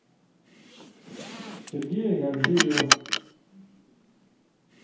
сергея гаджиева